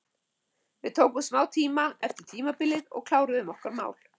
Við tókum smá tíma eftir tímabilið og kláruðum okkar mál.